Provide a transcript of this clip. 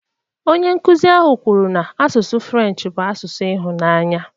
Onye nkụzi ahụ kwuru na asụsụ French bụ asụsụ ịhụnanya